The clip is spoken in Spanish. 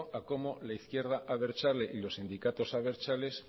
a cómo la izquierda abertzale y los sindicatos abertzales